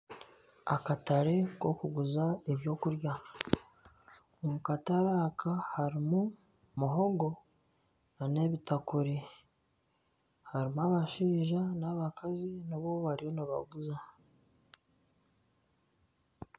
Akatare akokuguza ebyokurya omukatare aka harimu muhogo nana ebitakuri harimu abashaija nana abakazi nabo bariyo nibaguza.